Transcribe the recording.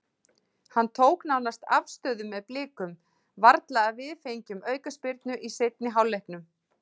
Hann tók nánast afstöðu með Blikum, varla að við fengjum aukaspyrnu í seinni hálfleiknum.